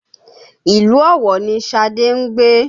Ìlú Ọ̀wọ̀ ni Șadé ń gbé